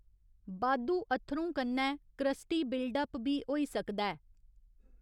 बाद्धू अत्थरूं कन्नै क्रस्टी बिल्डअप बी होई सकदा ऐ।